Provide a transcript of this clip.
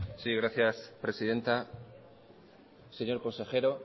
sí gracias presidenta señor consejero